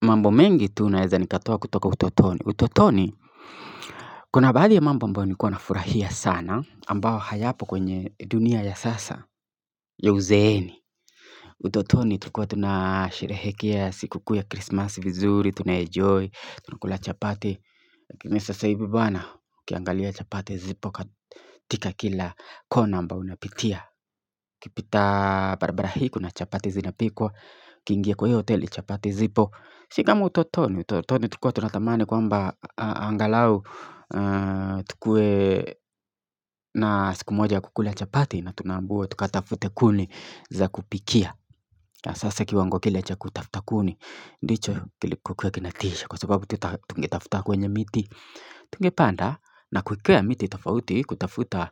Mambo mengi tunaweza nikatoa kutoka utotoni. Utotoni, kuna baadhi ya mambo ambayo nilikuwa na furahia sana, ambao hayapo kwenye dunia ya sasa, ya uzeeni. Utotoni, tulikuwa tunasherehekea siku kuu ya krisimasi vizuri, tunaenjoy, tunakula chapati. Lakini sasa hivi bana, ukiangalia chapati zipo katika kila kona ambao unapitia. Ukipita barabara hii kuna chapati zinapikwa, ukingia kwa hiyo hoteli chapati zipo. Si kama utotoni, utotoni tulikuwa tunatamani kwamba angalau tukuwe na siku moja kukula chapati na tunaambiwa tukatafute kuni za kupikia Sasa kiwango kile cha kutafuta kuni, ndicho kilikuwa kinatisha kwa sababu tungetafuta kwenye miti Tungepanda na kukwea miti tofauti kutafuta